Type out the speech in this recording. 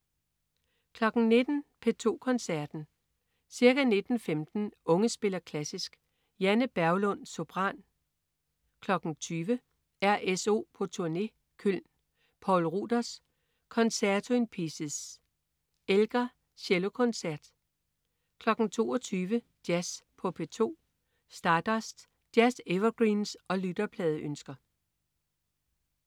19.00 P2 Koncerten. Ca. 19.15 Unge spiller klassisk. Janne Berglund, sopran. 20.00 RSO på turné, Köln. Poul Ruders: Concerto in Pieces. Elgar: Cellokoncert 22.00 Jazz på P2. Stardust. Jazz-evergreens og lytterpladeønsker